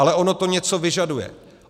Ale ono to něco vyžaduje.